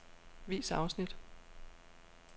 Vis afsnit.